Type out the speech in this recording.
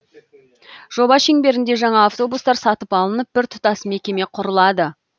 жоба шеңберінде жаңа автобустар сатып алынып біртұтас мекеме құрылады